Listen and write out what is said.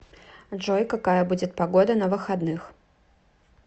джой какая будет погода на выходных